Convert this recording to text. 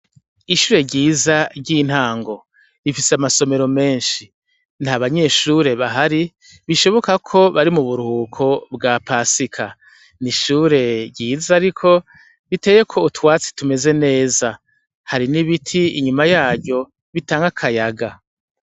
Ishure ryiza ry'intango bifise amasomero menshi nta banyeshure bahari bishoboka ko bari mu burhuko bwa pasika ni ishure ryiza ari ko biteye ko utwatsi tumeze neza hari n'ibiti inyuma yaryo bitange akayaga.